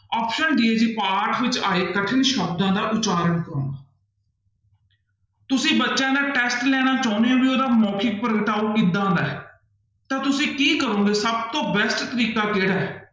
Option d ਹੈ ਜੀ ਪਾਠ ਵਿੱਚ ਆਏ ਕਠਿਨ ਸ਼ਬਦਾਂ ਦਾ ਉਚਾਰਨ ਕਰਵਾਉਣਾ ਤੁਸੀਂ ਬੱਚਿਆਂ ਦਾ test ਲੈਣਾ ਚਾਹੁੰਦੇ ਹੋ ਵੀ ਉਹਦਾ ਮੋਖਿਕ ਪ੍ਰਗਟਾਓ ਕਿੱਦਾਂ ਦਾ ਹੈ, ਤਾਂ ਤੁਸੀਂ ਕੀ ਕਰੋਂਗੇ ਸਭ ਤੋਂ best ਤਰੀਕਾ ਕਿਹੜਾ ਹੈ?